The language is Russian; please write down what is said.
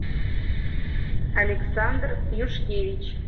александр юшкевич